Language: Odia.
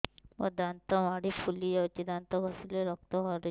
ମୋ ଦାନ୍ତ ମାଢି ଫୁଲି ଯାଉଛି ଦାନ୍ତ ଘଷିଲେ ରକ୍ତ ବାହାରୁଛି